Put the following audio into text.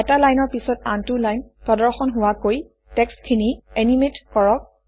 এটা লাইনৰ পিছত আনটো লাইন প্ৰদৰ্শন হোৱাকৈ টেক্সট্খিনি এনিমেট কৰক